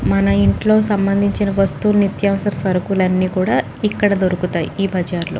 మన ఇంట్లో సంబంధించిన వస్తువులు నిత్యావసర సరుకులనీ కూడా ఇక్కడ దొరుకుతాయి ఈ బజార్ లో.